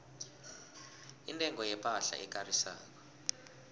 intengo yepahla ekarisako